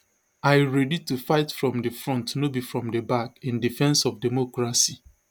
i ready to fight from di front no be from di back in defence of democracy